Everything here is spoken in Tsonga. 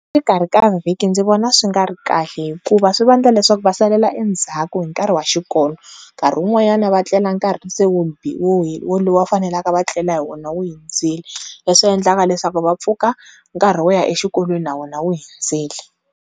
Exikarhi ka vhiki ndzi vona swi nga ri kahle hikuva swi vanga leswaku va salela endzhaku hi nkarhi wa xikolo nkarhi wun'wanyana va tlela nkarhi se walowu va faneleka va tlela hi wona wu hundzile leswi endlaka leswaku va pfuka nkarhi wo ya exikolweni na wona wu hundzile.